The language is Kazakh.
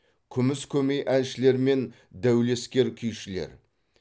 күміс көмей әншілер мен дәулескер күйшілер